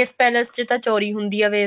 ਇਸ ਪੈਲੇਸ ਚ ਤਾਂ ਚੋਰੀ ਹੁੰਦੀ ਹੈ ਵੀ